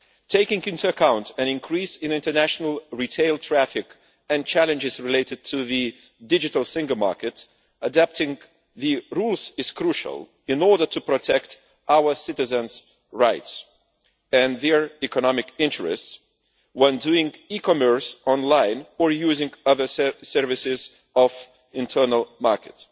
Taking into account an increase in international retail traffic and challenges related to the digital single market, adapting the rules is crucial in order to protect our citizens' rights and their economic interests when doing e commerce online or using other services of the internal market.